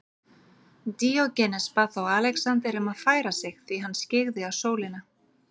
Díógenes bað þá Alexander um að færa sig því hann skyggði á sólina.